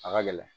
A ka gɛlɛn